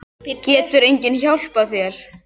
Getur enginn hjálpað þér?